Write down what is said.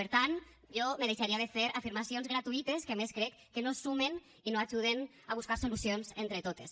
per tant jo me deixaria de fer afirmacions gratuïtes que a més crec que no sumen i no ajuden a buscar solucions entre totes